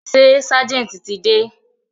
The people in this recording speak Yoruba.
Ṣé ságẹ̀ntì ti dé?